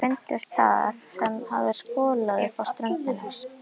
Þeir fundust þar sem þeim hafði skolað upp á ströndina.